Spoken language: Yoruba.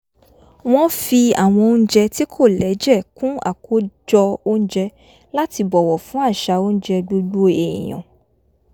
wọ́n fi àwọn oúnjẹ tí kò lẹ́jẹ̀ kún àkójọ oúnjẹ láti bọ̀wọ̀ fún àsà óúnjẹ gbogbo èèyàn